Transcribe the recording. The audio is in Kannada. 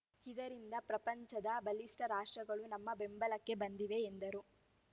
ಇದರಿಂದ ಪ್ರಪಂಚದ ಬಲಿಷ್ಠ ರಾಷ್ಟ್ರಗಳು ನಮ್ಮ ಬೆಂಬಲಕ್ಕೆ ಬಂದಿವೆ ಎಂದರು